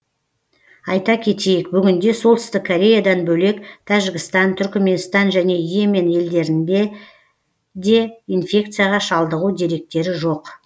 айта кетейік бүгінде солтүстік кореядан бөлек тәжікстан түрікменстан және и емен елдерінде де инфекцияға шалдығу деректері жоқ